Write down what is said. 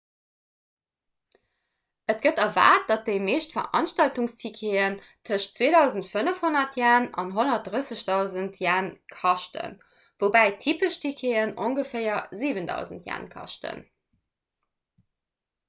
et gëtt erwaart datt déi meescht veranstaltungsticketen tëschent 2.500 ¥ an 130.000 ¥ kaschten woubäi typesch ticketen ongeféier 7.000 ¥ kaschten